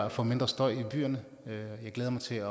at få mindre støj i byerne jeg glæder mig til